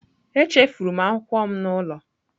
Echefuru m akwụkwọ m n'ụlọ